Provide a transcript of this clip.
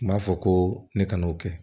N b'a fɔ ko ne ka n'o kɛ